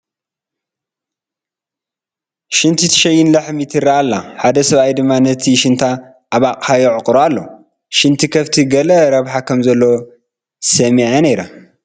ሽንት ትሸይን ላሕሚ ትርአ ኣላ ሓደ ሰብ ድማ ነቲ ሽንታ ኣብ ኣቕሓ የዕቑሮ ኣሎ፡፡ ሽንቲ ከፍቲ ገለ ረብሓ ከምዘለዎ ሰሚዐ ነይረ፡፡